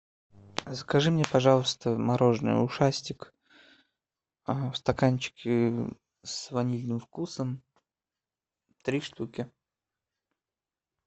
закажи мне пожалуйста мороженое ушастик в стаканчике с ванильным вкусом три штуки